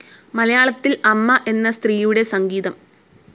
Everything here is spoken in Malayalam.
മലയാളത്തിൽ അമ്മ എന്ന സ്ത്രീയുടെ സംഗീതം.